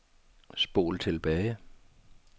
spol tilbage